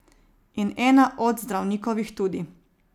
In ena od zdravnikovih tudi.